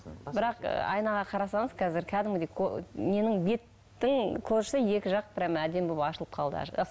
бірақ айнаға қарасаңыз қазір кәдімгідей ненің беттің кожасы екі жақ прямо әдемі болып ашылып қалды